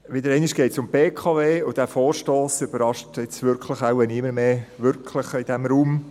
Wieder einmal geht es um die BKW, und dieser Vorstoss überrascht jetzt wahrscheinlich niemanden mehr wirklich in diesem Raum.